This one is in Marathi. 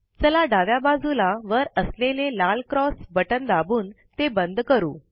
चला डाव्या बाजूला वर असलेले लाल क्रोस बटन दाबून ते बंद करू